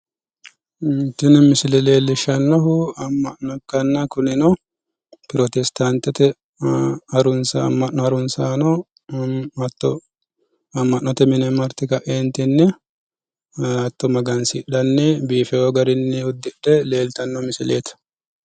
Tini misile leellishshannohu amma'no ikkanna kunino protestaantete amma'no harunsaano hatto amma'note mine marte kaeentinni hatto magansidhanni biifewo garinni uddidhe leeltanno misileeti.